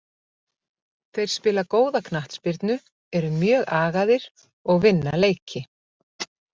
Þeir spila góða knattspyrnu, eru mjög agaðir og vinna leiki.